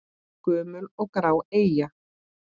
Gömul og grá eyja?